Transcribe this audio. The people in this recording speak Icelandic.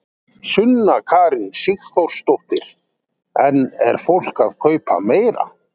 Sunna Karen Sigurþórsdóttir: En er fólk að kaupa meira?